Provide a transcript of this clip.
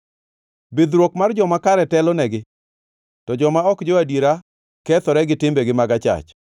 Bidhruok mar joma kare telonegi, to joma ok jo-adiera kethore gi timbegi mag achach.